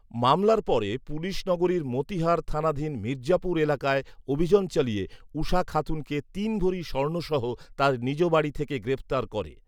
মামলার পরে পুলিশ নগরীর মতিহার থানাধীন মির্জাপুর এলাকায় অভিযান চালিয়ে উষা খাতুনকে তিন ভরি স্বর্ণ সহ তার নিজ বাড়ি থেকে গ্রেফতার করে